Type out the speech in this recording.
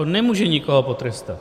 On nemůže nikoho potrestat.